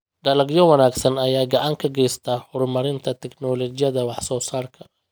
Dalagyo wanaagsan ayaa gacan ka geysta horumarinta tignoolajiyada wax soo saarka.